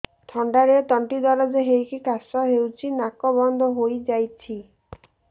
ଥଣ୍ଡାରେ ତଣ୍ଟି ଦରଜ ହେଇକି କାଶ ହଉଚି ନାକ ବନ୍ଦ ହୋଇଯାଉଛି